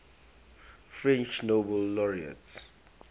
french nobel laureates